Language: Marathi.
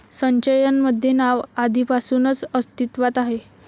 संचयन मध्ये नाव आधिपासूनच अस्तीत्वात आहे